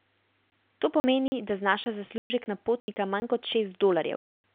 To pomeni, da znaša zaslužek na potnika manj kot šest dolarjev.